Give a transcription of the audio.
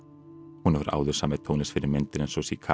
hún hefur áður samið tónlist fyrir myndir eins og